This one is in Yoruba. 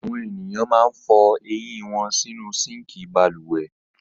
Àwọn ènìyàn máa ń fọ eyín wọn sínú síńkì balùwẹ̀.